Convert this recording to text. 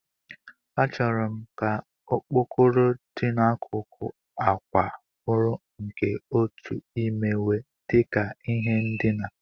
Achọrọ m ka okpokoro dị n'akụkụ àkwà bụrụ nke otu imewe dị ka ihe ndina.